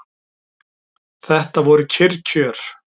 Þetta voru kyrr kjör.